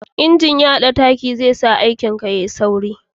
injin ya da taki zai sa aikin ka ya yi sauri